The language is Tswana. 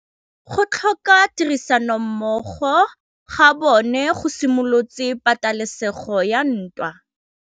Go tlhoka tirsanommogo ga bone go simolotse patêlêsêgô ya ntwa.